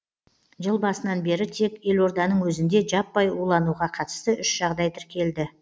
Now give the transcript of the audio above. жыл басынан бері тек елорданың өзінде жаппай улануға қатысты үш жағдай тіркелді